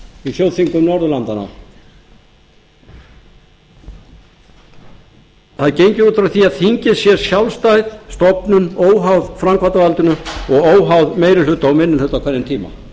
í þjóðþingum norðurlandanna að þingið sé sjálfstæð stofnun óháð framkvæmdarvaldinu og óháð meiri hluta og minni hluta á hverjum tíma